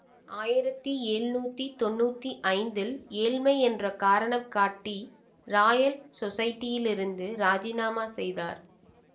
ஆயிரத்தி எழ்நூத்தி தொன்னூத்தி ஐந்தில் ஏழ்மை என்ற காரணம் காட்டி ராயல் சொஸைட்டியிலிருந்து ராஜினாமா செய்தார்